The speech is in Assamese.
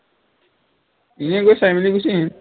এনেই গৈ চাই মেলি গুচি আহিম